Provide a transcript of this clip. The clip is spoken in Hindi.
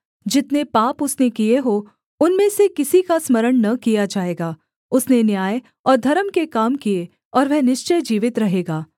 जितने पाप उसने किए हों उनमें से किसी का स्मरण न किया जाएगा उसने न्याय और धर्म के काम किए और वह निश्चय जीवित रहेगा